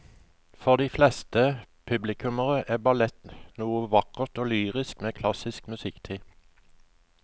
For de fleste publikummere er ballett noe vakkert og lyrisk med klassisk musikk til.